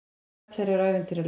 Nöfn þeirra eru ævintýraleg.